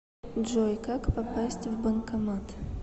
джой как попасть в банкомат